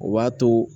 O b'a to